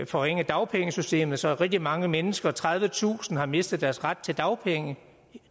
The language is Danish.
forringe dagpengesystemet så rigtig mange mennesker tredivetusind har mistet deres ret til dagpenge